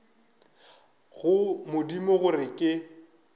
go modimo gore ke se